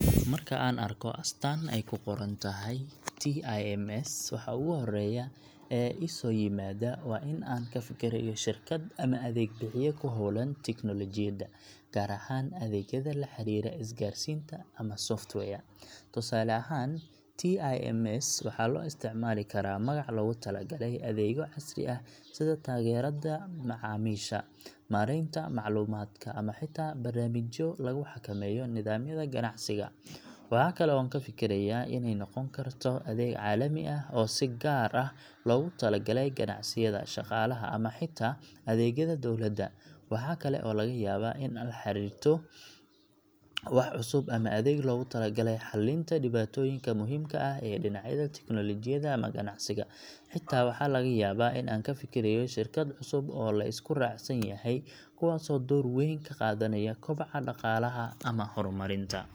Marka aan arko astaan ay ku qoran tahay TIMS, waxa ugu horreeya ee i soo yimaada waa in aan ka fikirayo shirkad ama adeeg bixiye ku hawlan tiknoolajiyada, gaar ahaan adeegyada la xiriira isgaarsiinta ama software. Tusaale ahaan, TIMS waxaa loo isticmaali karaa magac loogu talagalay adeegyo casri ah sida taageerada macaamiisha, maaraynta macluumaadka, ama xitaa barnaamijyo lagu xakameeyo nidaamyada ganacsiga. Waxaa kale oo aan ka fikirayaa inay noqon karto adeeg caalami ah oo si gaar ah loogu talagalay ganacsiyada, shaqaalaha ama xitaa adeegyada dowladda. Waxa kale oo laga yaabaa in aan la xiriirto wax cusub ama adeeg loogu talagalay xallinta dhibaatooyinka muhiimka ah ee dhinacyada teknolojiyada ama ganacsiga. Xitaa waxaa laga yaabaa in aan ka fikirayo shirkad cusub oo la isku raacsan yahay, kuwaasoo door weyn ka qaadanaya kobaca dhaqaalaha ama horumarinta.